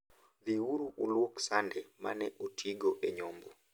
Dhi uru ulwok sande ma ne otigo e nyombo.